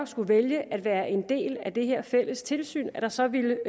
skulle vælge at være en del af det her fælles tilsyn at der så vil